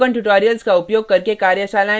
spoken tutorials का उपयोग करके कार्यशालाएँ भी चलाती है